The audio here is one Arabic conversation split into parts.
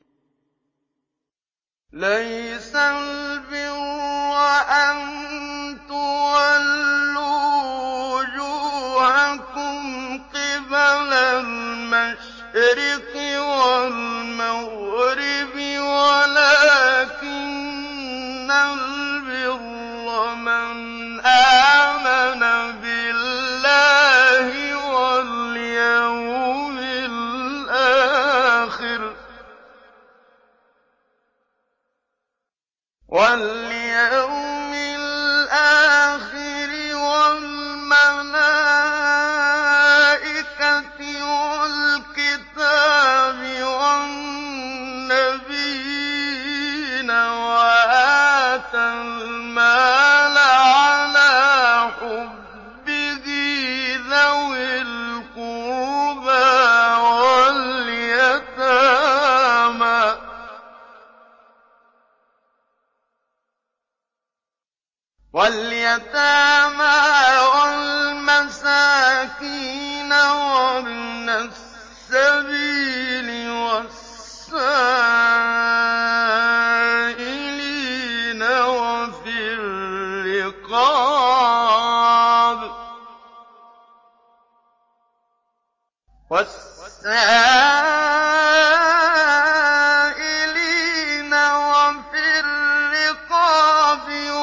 ۞ لَّيْسَ الْبِرَّ أَن تُوَلُّوا وُجُوهَكُمْ قِبَلَ الْمَشْرِقِ وَالْمَغْرِبِ وَلَٰكِنَّ الْبِرَّ مَنْ آمَنَ بِاللَّهِ وَالْيَوْمِ الْآخِرِ وَالْمَلَائِكَةِ وَالْكِتَابِ وَالنَّبِيِّينَ وَآتَى الْمَالَ عَلَىٰ حُبِّهِ ذَوِي الْقُرْبَىٰ وَالْيَتَامَىٰ وَالْمَسَاكِينَ وَابْنَ السَّبِيلِ وَالسَّائِلِينَ وَفِي الرِّقَابِ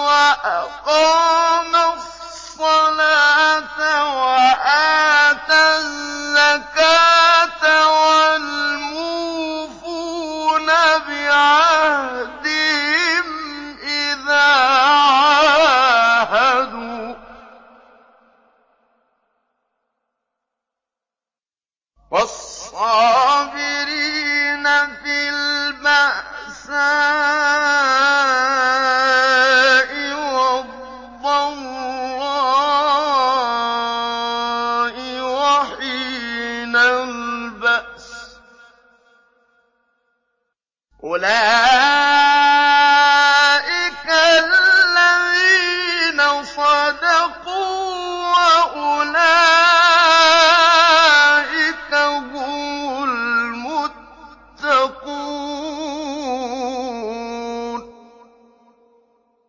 وَأَقَامَ الصَّلَاةَ وَآتَى الزَّكَاةَ وَالْمُوفُونَ بِعَهْدِهِمْ إِذَا عَاهَدُوا ۖ وَالصَّابِرِينَ فِي الْبَأْسَاءِ وَالضَّرَّاءِ وَحِينَ الْبَأْسِ ۗ أُولَٰئِكَ الَّذِينَ صَدَقُوا ۖ وَأُولَٰئِكَ هُمُ الْمُتَّقُونَ